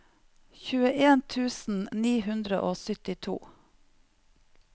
tjueen tusen ni hundre og syttito